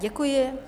Děkuji.